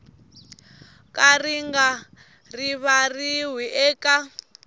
ka ri nga rivariwi eka